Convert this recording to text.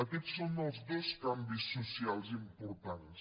aquests són els dos canvis socials importants